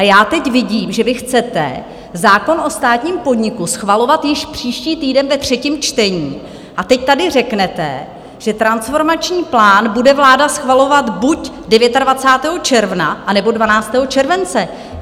A já teď vidím, že vy chcete zákon o státním podniku schvalovat již příští týden ve třetím čtení, a teď tady řeknete, že transformační plán bude vláda schvalovat buď 29. června, anebo 12. července.